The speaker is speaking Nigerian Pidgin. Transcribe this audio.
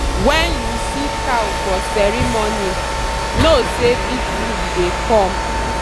when you see cow for ceremony know say big food dey come.